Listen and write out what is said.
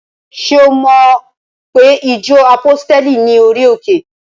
Ṣé o mo pe ìjọ àpọ́stéli ní orí òkè?